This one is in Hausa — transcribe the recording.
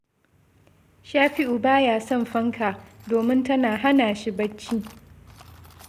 Shafi’u ba ya son fanka, domin tana hana shi barci